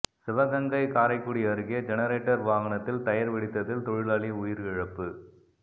சிவகங்கை காரைக்குடி அருகே ஜெனரேட்டர் வாகனத்தில் டயர் வெடித்ததில் தொழிலாளி உயிரிழப்பு